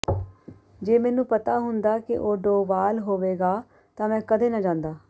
ਜੇ ਮੈਨੂੰ ਪਤਾ ਹੁੰਦਾ ਕਿ ਉਹ ਡੋਵਾਲ ਹੋਵੇਗਾ ਤਾਂ ਮੈਂ ਕਦੇ ਨਾ ਜਾਂਦਾ